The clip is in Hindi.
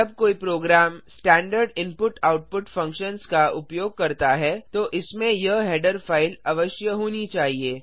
जब कोई प्रोग्राम स्टैंडर्ड इनपुटआउटपुट फ़ंक्शन्स का उपयोग करता है तो इसमें यह हेडर फ़ाइल अवश्य होनी चाहिए